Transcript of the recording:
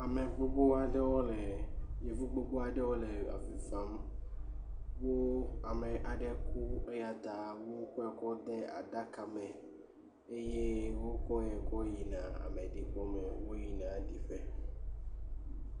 ame gbogbo aɖewo le yevu gbogbó aɖewo le avi fam wó amɛ aɖe ku eyata wó kɔe kɔ de aɖaka me eye wó kɔe kɔ yina ameɖibɔ me wó yina ɖiƒe